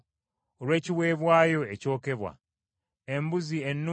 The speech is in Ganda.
embuzi ennume emu nga ya kiweebwayo olw’ekibi;